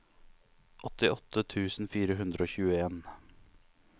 åttiåtte tusen fire hundre og tjueen